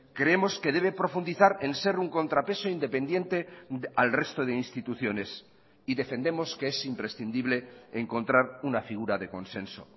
creemos que debe profundizar en ser un contrapeso independiente al resto de instituciones y defendemos que es imprescindible encontrar una figura de consenso